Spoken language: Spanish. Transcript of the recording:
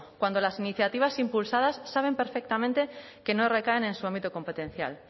cuando las iniciativas impulsadas saben perfectamente que no recaen en su ámbito competencial